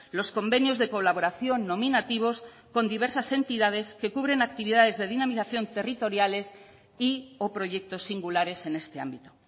los convenios de colaboración nominativos con diversas entidades que cubren actividades de dinamización territoriales y o proyectos singulares en este ámbito